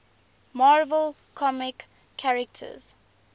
marvel comics characters